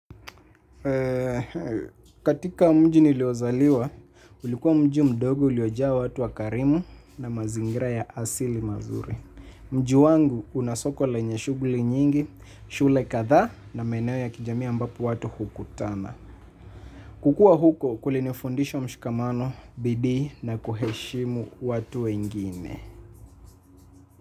Katika mji niliozaliwa, ulikuwa mji mdogo uliojaa watu wakarimu na mazingira ya asili mazuri. Mji wangu unasoko lenye shughuli nyingi, shule kadhaa na maeneo ya kijamii ambapo watu hukutana. Kukua huko kulinifundisha mshikamano, bidii na kuheshimu watu wengine.